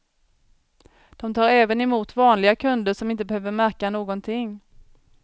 De tar även emot vanliga kunder som inte behöver märka någonting.